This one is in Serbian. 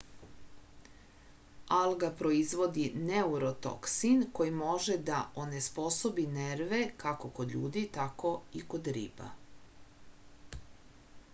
alga proizvodi neurotoksin koji može da onesposobi nerve kako kod ljudi tako i kod riba